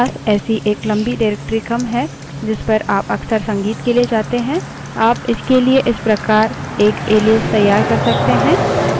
मानिए कि आपके पास ऐसी एक लम्बी directory क्रम है जिस पर आप अक्सर संगीत के लिए जाते हैं आप इसके लिए इस प्रकार एक एलाइस तैयार कर सकते हैं